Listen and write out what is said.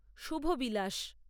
শুভ বিলাস